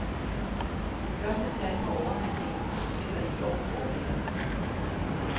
De første tal for overnatninger på hoteller i år foreligger.